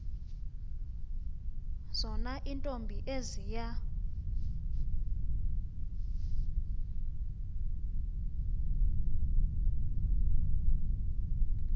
zona iintombi eziya